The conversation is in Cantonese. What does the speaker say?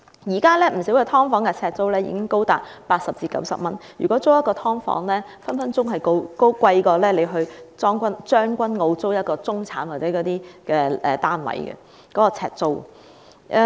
現時不少"劏房"的呎租已經高達80元至90元，一間"劏房"的呎租有可能較一個將軍澳中產單位的呎租為高。